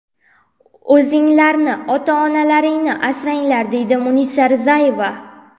O‘zinglarni, ota-onalaringni asranglar!”, deydi Munisa Rizayeva.